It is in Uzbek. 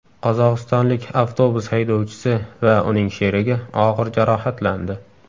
Qozog‘istonlik avtobus haydovchisi va uning sherigi og‘ir jarohatlandi.